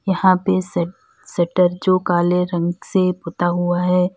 यहां पे श शटर जो काले रंग से पुता हुआ है।